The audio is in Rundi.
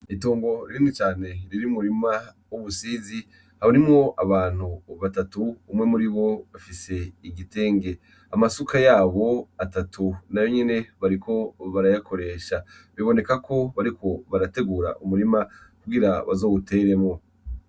Itomo rinini cane riri mu murima w'umusizi abarimwo abantu batatu, umwe muribo afise igitenge amasuka yabo atatu nayo nyene bariko barayakoresha. Biboneka ko bariko barategura umurima kugira bazowuteremo.